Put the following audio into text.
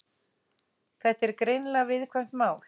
Þetta er greinilega viðkvæmt mál